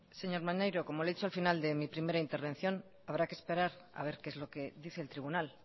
señor maneiro como le he dicho al final de mi primera intervención habrá que esperar a ver qué es lo que dice el tribunal